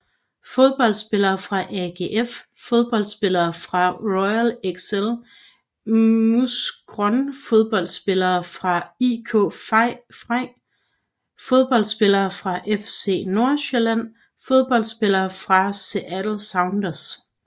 Fodboldspillere fra AGF Fodboldspillere fra Royal Excel Mouscron Fodboldspillere fra IK Frej Fodboldspillere fra FC Nordsjælland Fodboldspillere fra Seattle Sounders